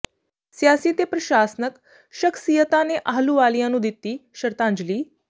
ਸਿਆਸੀ ਤੇ ਪ੍ਰਸ਼ਾਸਨਕ ਸ਼ਖ਼ਸੀਅਤਾਂ ਨੇ ਆਹੂਲਵਾਲੀਆ ਨੂੰ ਦਿੱਤੀ ਸ਼ਰਧਾਂਜਲੀ